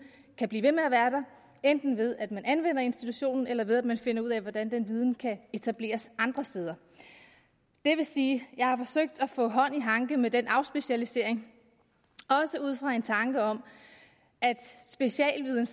kan blive ved med at være der enten ved at man anvender institutionen eller ved at man finder ud af hvordan den viden kan etableres andre steder det vil sige at jeg har forsøgt at få hånd i hanke med den afspecialisering også ud fra en tanke om at specialviden